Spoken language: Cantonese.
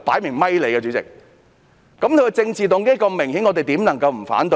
如此明顯的政治動機，我們怎能不提出反對？